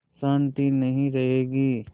शान्ति नहीं रहेगी